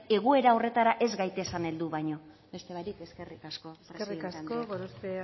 egoera horretarako ez gaitezen heldu baino besterik barik eskerrik asko eskerrik asko gorospe